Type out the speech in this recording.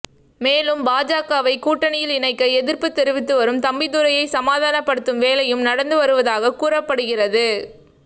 மேலும் பாஜகவை கூட்டணியில் இணைக்க எதிர்ப்பு தெரிவித்து வரும் தம்பிதுரையை சமாதானப்படுத்தும் வேலையும் நடந்து வருவதாக கூறப்படுகிறது